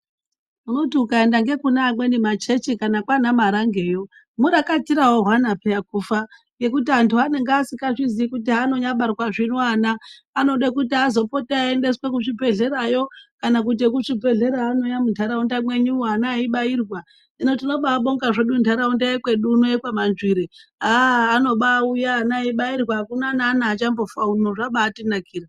Unoti ukaenda ngekune amweni machechi kana kwana Marangeyo murakatira hwehwana peya kufa ngekuti antu anenge asikazviziyi kuti haanonyabarwazvo zvino ana anode kuti azopote eyiendeswe kuzvibhedhlerayo kana kuti vekuzvibhedhlera anouya muntaraunda mwenyumwo ana eyibairwa hino tinomabonga zvedu ntaraunda yekwedu kuno yekwaManzvire haa anobauya ana echibairwa hakuna naana achambofa uno haa zvabatinakira .